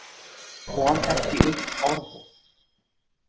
Kom ekki upp orði.